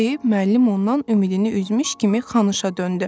deyib müəllim ondan ümidini üzmüş kimi Xanışa döndü.